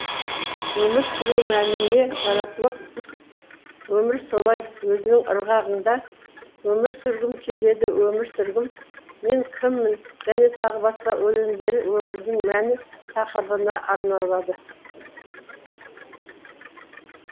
өмір сүру мәні не жаратылып өмір солай өзінің ырғағында өмір сүргім келеді өмір сүргім мен кіммін және тағы басқа өлеңдері өмірдің мәні тақырыбына арналады